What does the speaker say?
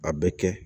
A bɛ kɛ